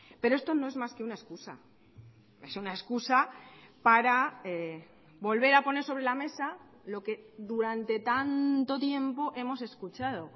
pero esto no es más que una excusa es una excusa para volver a poner sobre la mesa lo que durante tanto tiempo hemos escuchado